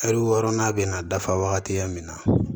Ɛri wɔɔrɔnan bɛ na dafa wagatiya min na